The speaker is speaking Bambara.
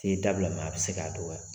Te dabila a be se ka dɔgɔya .